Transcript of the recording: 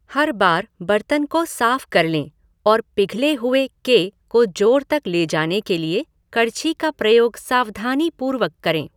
हर बार बर्तन को साफ कर लें और पिघले हुऐ के को जोड़ तक ले जाने के लिए कड़छी का प्रयोग सावधानी पूर्वक करें।